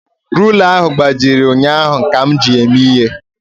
Rula ahụ gbajiri ụnyaahụ ka m ji ya eme ihe